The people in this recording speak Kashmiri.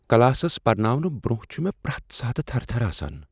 کلاسس پرناونہٕ برٛۄنٛہہ چھےٚ مےٚ پرٛٮ۪تھ ساتہٕ تھرٕ تھرٕ آسان۔